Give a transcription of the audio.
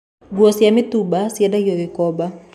Nguo cia mĩtumba ciendagio Gĩkomba